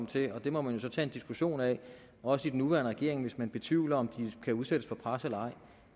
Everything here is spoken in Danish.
til og det må man jo så tage en diskussion af også i den nuværende regering hvis man betvivler om de kan udsættes for pres eller ej